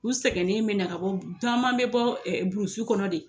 U sɛgɛnnen be na ka bɔ bu u taman be bɔ burusu kɔnɔ de